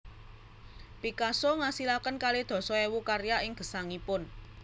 Picasso ngasilaken kalih dasa ewu karya ing gesangipun